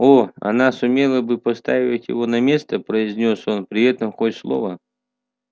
о она сумела бы поставить его на место произнёс он при этом хоть слово